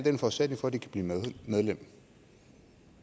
en forudsætning for at de kan blive medlem